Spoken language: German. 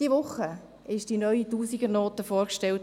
– Diese Woche wurde die neue Tausendernote vorgestellt.